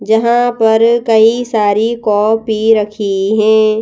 जहां पर कई सारी कॉपी रखी है।